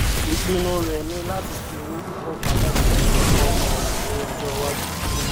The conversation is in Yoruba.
ìpinnu rẹ ni láti fi owó púpọ pamọ fún ẹkọ ọmọ rẹ ní ọjọ iwájú